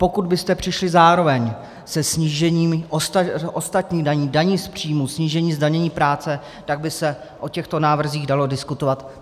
Pokud byste přišli zároveň se snížením ostatních daní, daní z příjmů, snížení zdanění práce, tak by se o těchto návrzích dalo diskutovat.